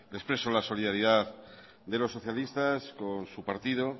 le expreso la solidaridad de los socialistas con su partido